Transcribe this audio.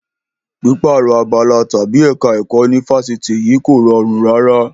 Pípààrọ̀ abala tàbí ẹ̀ka ẹ̀kọ́ ní Fáṣítì yìí kò rọrùn rárá.